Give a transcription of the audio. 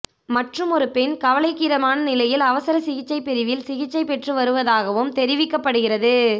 மற்றுமொரு பெண் கவலைக்கிடமான நிலையில் அவசர சிகிச்சைப் பிரிவில் சிகிச்சை பெற்று வருவதாகவும் தெரிவிக்கப்படுகிறது